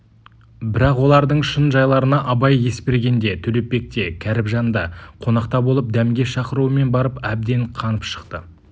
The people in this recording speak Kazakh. бірақ олардың шын жайларына абай есбергенде төлепбекте кәріпжанда қонақта болып дәмге шақыруымен барып әбден қанып шықты